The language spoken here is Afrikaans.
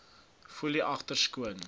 foelie agter skoon